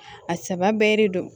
A saba bɛɛ de don